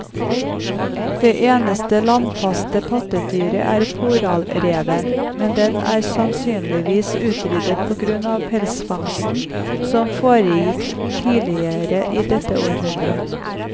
Det eneste landfaste pattedyret er polarrev, men den er sannsynligvis utryddet på grunn av pelsfangsten som foregikk tidligere i dette århundret.